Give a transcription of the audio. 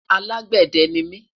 alágbède nimi